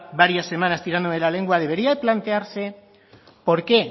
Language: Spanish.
varias semanas tirándome de la lengua debería plantearse por qué